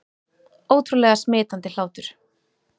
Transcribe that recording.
Ótrúlega smitandi hlátur